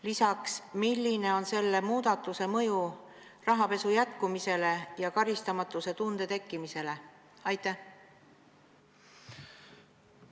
Lisaks: milline on olnud selle muudatuse mõju rahapesu jätkumise ja karistamatuse tunde tekkimise seisukohast?